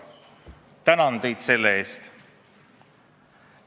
Tänan teid selle eest!